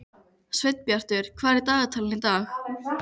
Sveinbjartur, hvað er í dagatalinu í dag?